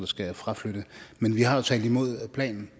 skal fraflytte men vi har jo talt imod planen